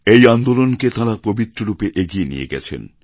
এই আন্দোলনকে তাঁরা পবিত্ররূপে এগিয়ে নিয়ে গেছেন